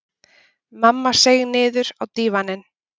Mamma seig niður á dívaninn.